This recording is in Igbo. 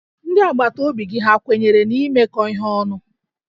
Ndị agbataobi gị ha kwenyere n'imekọ ihe ọnụ?